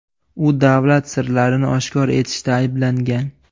U davlat sirlarini oshkor etishda ayblangan.